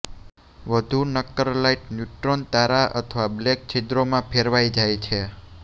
વધુ નક્કર light neutron તારા અથવા બ્લેક છિદ્રો મા ફેરવાઇ જાય છે